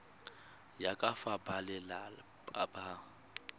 ya ka fa balelapa ba